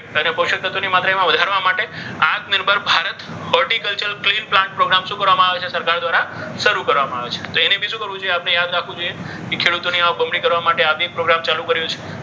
અને પોષક તત્વોની માત્રા એમાં વધારવા માટે Atmanirbhar Bharat horticulture clean plant program શું કરવામાં આવે છે? સરકાર દ્વારા શરૂ કરવામાં આવે છે. તો એને બી શું કરવું જોઈએ? આપણે યાદ રાખવું જોઈએ. કે ખેડૂતોની આવક બમણી કરવા માટે આ એક પ્રોગ્રામ ચાલુ કર્યો છે.